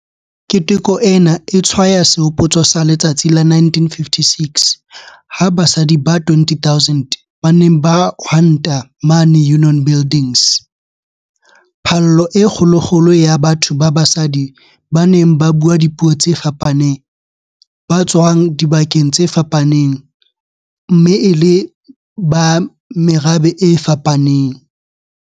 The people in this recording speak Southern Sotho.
Keteko ena e tshwaya sehopotso sa letsatsi la 1956 ha basadi ba 20 000 ba ne ba hwanta mane Union Buildings - phallo e kgolokgolo ya batho ba basadi ba neng ba bua dipuo tse fapaneng, ba tswa dibakeng tse fapaneng mme e le ba merabe e fapaneng.